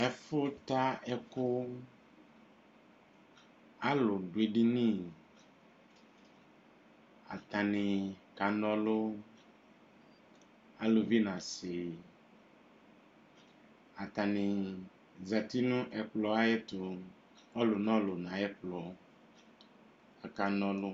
Ɛfʋta ɛkʋ alʋdʋ edini atanibkana ɔlʋ alʋvi nʋ asi atani zati nʋ ɛkplɔɛtʋ ɔlʋ nʋ ɔlʋ nʋ ayʋ ɛkplɔ kʋ aka na ɔlʋ